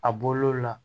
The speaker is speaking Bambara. A bɔl'o la